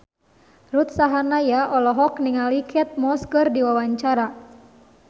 Ruth Sahanaya olohok ningali Kate Moss keur diwawancara